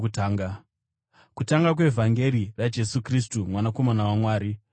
Kutanga kwevhangeri raJesu Kristu, Mwanakomana waMwari.